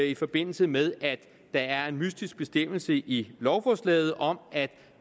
i forbindelse med at der er en mystisk bestemmelse i lovforslaget om at